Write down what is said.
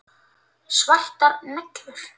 Svartar neglur.